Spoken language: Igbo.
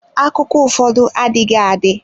Akụkọ ụfọdụ adịghị adị.